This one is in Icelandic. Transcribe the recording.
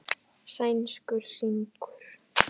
Sænskur sigur.